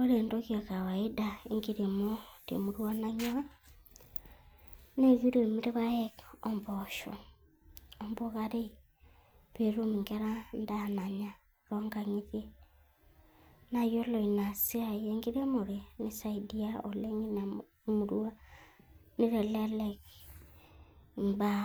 Ore entoki ekawaida enkiremo temurua naing'ua, na kiremi ilpaek, ombosho ombukaarei petum inkera endaaa nanyaa tonkang'itie, naa yiolo ore ena siai enkiremore, neisaidia oleng ina murua neitelelek imbaa